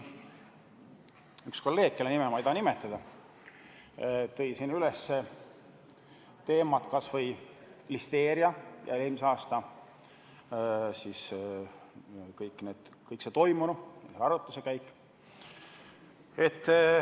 Üks kolleeg, kelle nime ma ei taha nimetada, tõstis siin üles ka listeeria teema ja kõik muu, mis eelmisel aastal veel toimus.